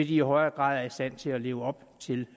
de i højere grad er i stand til at leve op til